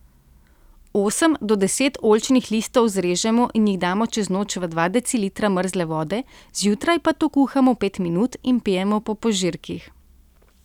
Osem do deset oljčnih listov zrežemo in jih damo čez noč v dva decilitra mrzle vode, zjutraj pa to kuhamo pet minut in pijemo po požirkih.